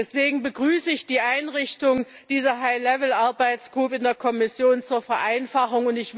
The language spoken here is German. Deswegen begrüße ich die Einrichtung dieser High level Arbeitsgruppen in der Kommission zur Vereinfachung.